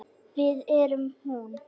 Við erum hún.